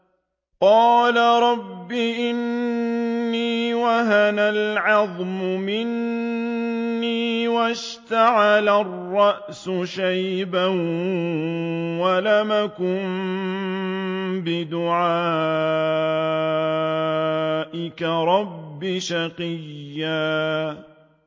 قَالَ رَبِّ إِنِّي وَهَنَ الْعَظْمُ مِنِّي وَاشْتَعَلَ الرَّأْسُ شَيْبًا وَلَمْ أَكُن بِدُعَائِكَ رَبِّ شَقِيًّا